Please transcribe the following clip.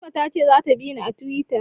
Fatima ta ce za ta bini a Tiwita